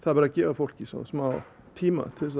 verður að gefa fólki smá tíma til þess